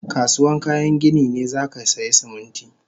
Kasuwan kayan gini ne zakasaya Siminti